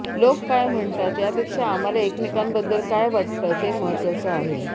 लोक काय म्हणतात यापेक्षा आम्हाला एकमेकांबद्दल काय वाटतं ते महत्वाचं आहे